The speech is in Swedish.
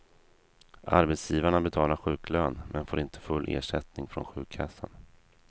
Arbetsgivarna betalar sjuklön, men får inte full ersättning från sjukkassan.